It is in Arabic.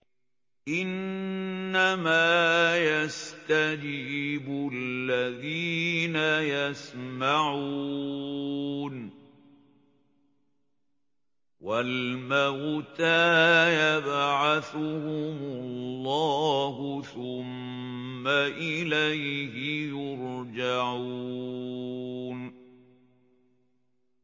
۞ إِنَّمَا يَسْتَجِيبُ الَّذِينَ يَسْمَعُونَ ۘ وَالْمَوْتَىٰ يَبْعَثُهُمُ اللَّهُ ثُمَّ إِلَيْهِ يُرْجَعُونَ